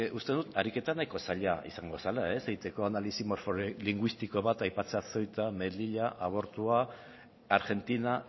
uste dut ariketa nahiko zaila izango zela egiteko analisi morfolinguistiko bat aipatzea ceuta melilla abortua argentina